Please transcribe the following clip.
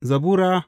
Zabura Sura